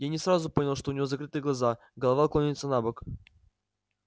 я не сразу понял что у него закрыты глаза голова клонится набок